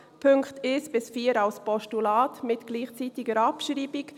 die Punkte 1 bis 4 als Postulat mit gleichzeitiger Abschreibung.